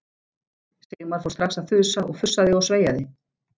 Sigmar fór strax að þusa og fussaði og sveiaði.